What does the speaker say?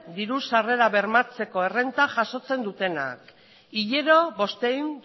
diru sarrera bermatzeko errenta jasotzen dutenak hilero bostehun